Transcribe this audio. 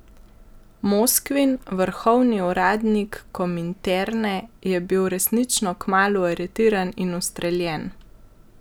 Moskvin, vrhovni uradnik kominterne, je bil resnično kmalu aretiran in ustreljen.